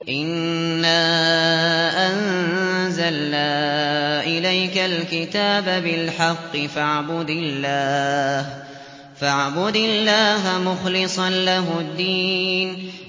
إِنَّا أَنزَلْنَا إِلَيْكَ الْكِتَابَ بِالْحَقِّ فَاعْبُدِ اللَّهَ مُخْلِصًا لَّهُ الدِّينَ